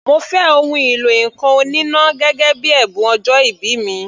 Mo fẹ́ ohun ìlọ ǹkan oníná gẹ́gẹ́ bíi ẹ̀bùn ọjọ́ìbí mi.